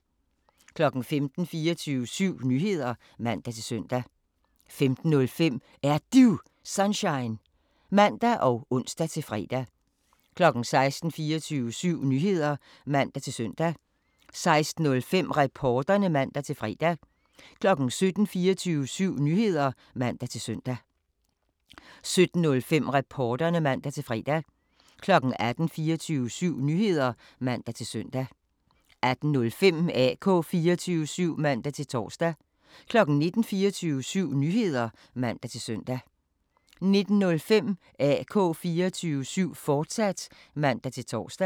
15:00: 24syv Nyheder (man-søn) 15:05: Er Du Sunshine? (man og ons-fre) 16:00: 24syv Nyheder (man-søn) 16:05: Reporterne (man-fre) 17:00: 24syv Nyheder (man-søn) 17:05: Reporterne (man-fre) 18:00: 24syv Nyheder (man-søn) 18:05: AK 24syv (man-tor) 19:00: 24syv Nyheder (man-søn) 19:05: AK 24syv, fortsat (man-tor)